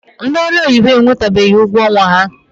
Ndị ọrụ oyibo enwetabeghi ụgwọ ọnwa ha.